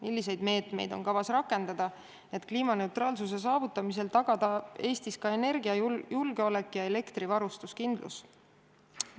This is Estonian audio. Milliseid meetmeid on kavas rakendada, et kliimaneutraalsuse saavutamisel tagada Eesti energiajulgeolek ja elektrivarustuskindlus?